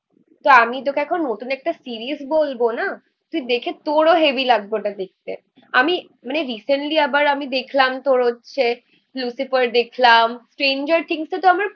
তো আমি তোকে এখন নতুন একটা সিরিজ বলবো না. তুই দেখে তোরও হেভি লাগবো ওটা দেখতে আমি মানে রিসেন্টলি আবার আমি দেখলাম তোর হচ্ছে